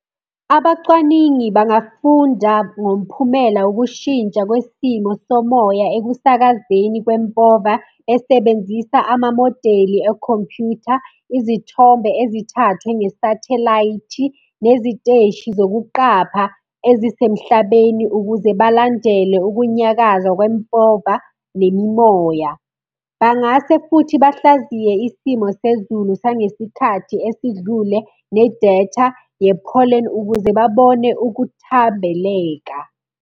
Abacwaningi bangafunda ngomphumela wokushintsha kwesimo somoya ekusakazeni kwempova esebenzisa amamodeli ekhompyutha, izithombe ezithathwe ngesathelayithi, neziteshi zokuqapha ezisemhlabeni, ukuze balandele ukunyakaza kwempova nemimoya. Bangase futhi bahlaziye isimo sezulu sangesikhathi esidlule, nedatha ye-pollen, ukuze babone ukuthambeleka.